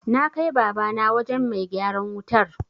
Na kai Babana wajen mai gyaran wutar.